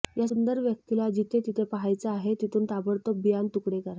या सुंदर व्यक्तीला जिथे जिथे पाहायचे आहे तिथून ताबडतोब बियाण तुकडे करा